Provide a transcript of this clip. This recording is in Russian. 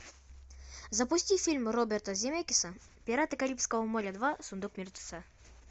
запусти фильм роберта земекиса пираты карибского моря два сундук мертвеца